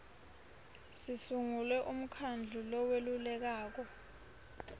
sisungule umkhandlu loweluleka